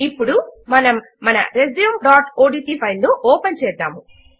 ఇప్పుడు మనము మన resumeఓడ్ట్ ఫైల్ ను ఓపెన్ చేద్దాము